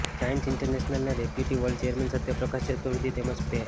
giants ઇન્ટરનેશનલના deputy world chairman Satyaprakash Chaturvedi તેમજ સ્પે